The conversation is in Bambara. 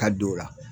Ka don o la